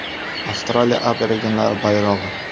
Avstraliya aborigenlari bayrog‘i.